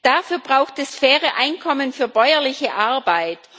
Dafür braucht es faire Einkommen für bäuerliche Arbeit.